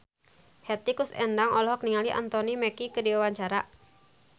Hetty Koes Endang olohok ningali Anthony Mackie keur diwawancara